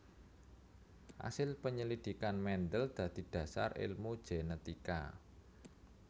Asil penyelidikan Mendel dadi dhasar èlmu genetika